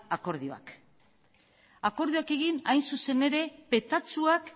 akordioak akordioak egin hain zuzen ere petatxuak